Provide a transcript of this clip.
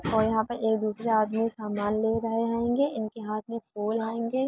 और यहाँ एक दूसरे आदमी सामान ले रहे हैंगे। इनके हाथ में फूल हैंगे।